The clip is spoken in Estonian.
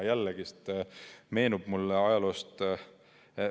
Jällegi meenub mulle ajaloost ...